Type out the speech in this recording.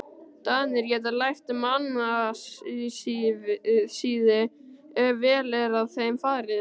Danir geta lært mannasiði, ef vel er að þeim farið.